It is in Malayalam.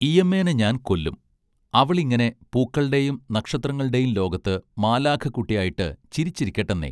ഈയമ്മേനെ ഞാൻ കൊല്ലും അവളിങ്ങനെ പൂക്കൾടേം നക്ഷത്രങ്ങൾടേം ലോകത്ത് മാലാഖക്കുട്ട്യായിട്ട് ചിരിച്ചിരിക്കട്ടെന്നെ